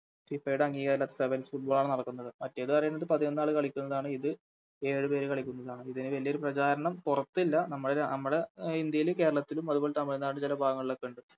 FIFA യുടെ അംഗീകാരം Sevens football ആണ് നടക്കുന്നത് മറ്റേത് പറയുന്നത് പതിനൊന്നാള് കളിക്കുന്നതാണ് ഇത് ഏഴ്പേര് കളിക്കുന്നതാണ് ഇതിനുവലിയൊരു പ്രചാരണം പുറത്തില്ല നമ്മളാരാ നമ്മളെ എ ഇന്ത്യയിലും കേരളത്തിലും അത്പോലെ തമിഴ്‌നാട് ചെല ഭാഗങ്ങളിലൊക്കെ ഇണ്ട്